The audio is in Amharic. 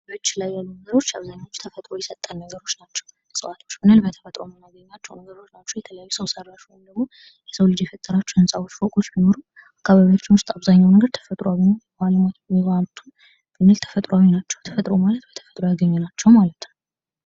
ደጅ ላይ ያሉ ነገሮች አብዛኞቹ ተፈጥሮ የሰጠን ነገሮች ናቸው። እጽዋት ብንል በተፈጥሮ የምናገኛቸው ነገሮች ናቸው። የተለያዩ ሰው ሰራሽ ወይም ደግሞ የሰው ልጅ የፈጠራቸው ህንፃዎች ፎቆች ቢኖሩም አካባቢያችን ውስጥ አብዙኛው ነገር ተፈጥሮአዊ ነው። ተፈጥሮ ማለት ደግሞ በተፈጥሮ ያገኘናቸው ማለት ነው።